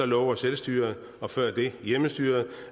lover selvstyret og før det hjemmestyret